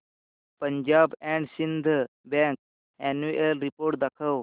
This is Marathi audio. Punjab and Sind bank annual report दाखव